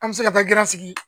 An mi se ka taa sigi